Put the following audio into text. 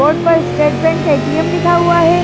Board पर state bank ATM लिखा हुआ है।